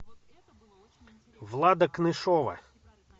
влада кнышова